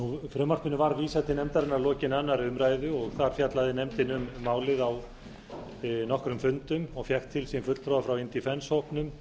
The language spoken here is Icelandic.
frumvarpinu var vísað til nefndarinnar að lokinni annarri umræðu þar fjallaði nefndin um málið á nokkrum fundum og fékk til sín fulltrúa frá indefence hópnum